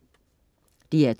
DR2: